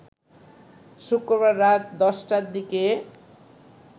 শুক্রবার রাত ১০টার দিকে